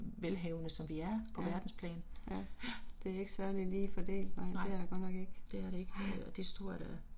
Ja, ja. Det er ikke særlig lige fordelt nej, det er det godt nok ikke ja